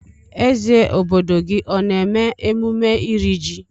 Eze obodo gị ọ na-eme emume ịri jị?